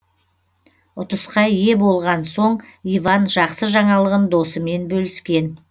ұтысқа ие болған соң иван жақсы жаңалығын досымен бөліскен